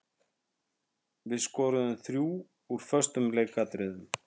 Við skoruðum þrjú úr föstum leikatriðum.